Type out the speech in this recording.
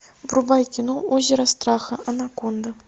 врубай кино озеро страха анаконда